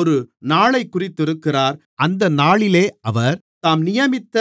ஒரு நாளைக் குறித்திருக்கிறார் அந்த நாளிலே அவர் தாம் நியமித்த